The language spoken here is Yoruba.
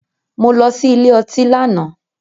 Mo lọ sí ilé ọtí lánàá.